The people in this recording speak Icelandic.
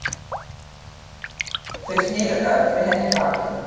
Þau sneru öll við henni baki.